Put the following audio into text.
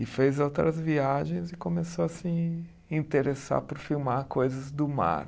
E fez outras viagens e começou a se interessar por filmar coisas do mar.